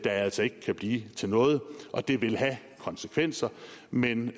altså ikke kan blive til noget og det vil have konsekvenser men